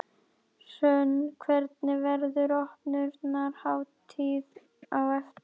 Hrönn, hvernig, verður opnunarhátíð á eftir?